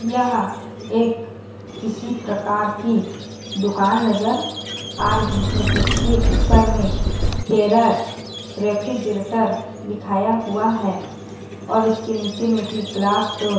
यह एक किसी प्रकार की दुकान नज़र आ रही है जिसके ऊपर में हेरर रेफ्रिजरेटर लिखाया हुआ है और इसके नीचे में भी ग्लास डोर --